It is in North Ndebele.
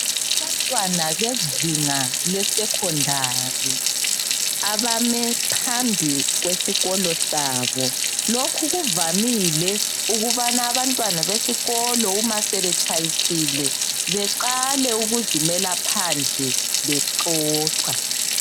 Abantwana bezinga lesekhondari abame phambili kwesikolo sabo. Lokhu kuvamile ukubana abantwana besikolo nxa sebetshayisile baqale ukuzimela phandle bexoxa.